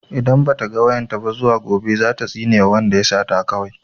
Idan ba ta ga wayan ta ba zuwa gobe za ta tsinewa wanda ya sata kawai.